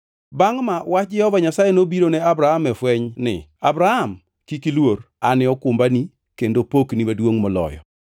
Bangʼ ma, wach Jehova Nyasaye nobiro ne Abram e fweny ni, “Abram, kik iluor. An e okumbani, kendo pokni maduongʼ moloyo.”